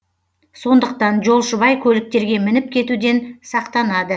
сондықтан жолшыбай көліктерге мініп кетуден сақтанады